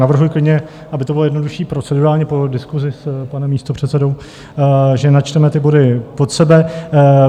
Navrhuji klidně, aby to bylo jednodušší procedurálně, po diskusi s panem místopředsedou, že načteme ty body pod sebe.